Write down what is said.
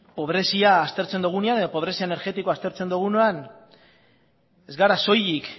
pobrezia aztertzen dugunean edo pobrezia energetikoa aztertzen dugunean ez gara soilik